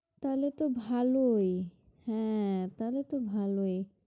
তাহলে তো ভালই হ্যাঁ তাহলে তো ভালোই